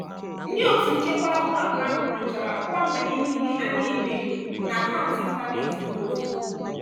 ndị otu nchekwa ụlọakụ ahụ nyochara ọkwa nbanye niile a na-enyo enyo na akaụntụ ịntanetị m ozugbo.